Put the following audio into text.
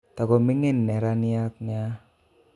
Tokomigin neraniat nia